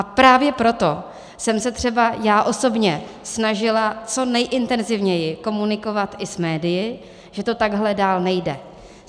A právě proto jsem se třeba já osobně snažila co nejintenzívněji komunikovat i s médii, že to takhle dál nejde.